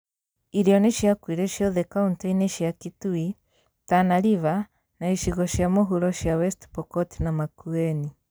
Irio nĩciakuire ciothe kauntĩ-ini cia Kitui, Tana River, na icigo cia mũhuro cia West Pokot na Makueni